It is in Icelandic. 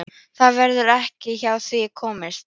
Það verður ekki hjá því komist.